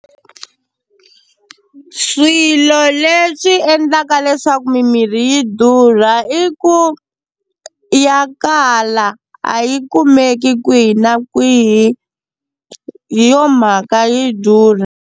Swilo leswi endlaka leswaku mimirhi yi durha i ku ya kala a yi kumeki kwihi na kwihi hi yo mhaka yi durha.